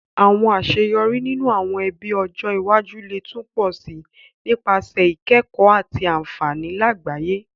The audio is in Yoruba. Àwon àseyorí ninú àwon ebí ọjọ́ iwájú le tun pọ si nípasẹ̀ ìkẹ̀kó àti ànfàní làgbáyẹ́